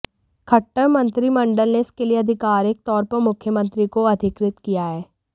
खट्टर मंत्रिमंडल ने इसके लिए अधिकारिक तौर पर मुख्यमंत्री को अधिकृत किया है